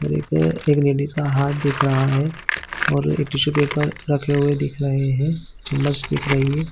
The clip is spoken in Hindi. और एकए एक लेडीज का हाथ दिख रहा है और एक टिश्यू पेपर रखे हुए दिख रहै है जो मस्त दिख रही है।